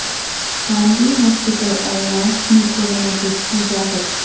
خانگی ہاسپٹلس اور لیابس میں کورونا ٹسٹ کی اجازت